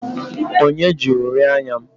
Onye ji uri anya m?